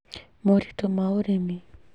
Moritũ ma ũrĩmi